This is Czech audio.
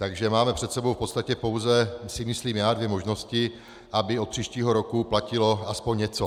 Takže máme před sebou v podstatě pouze, si myslím já, dvě možnosti, aby od příštího roku platilo aspoň něco.